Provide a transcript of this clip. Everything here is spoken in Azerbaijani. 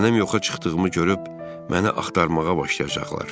Mənim yoxa çıxdığımı görüb məni axtarmağa başlayacaqlar.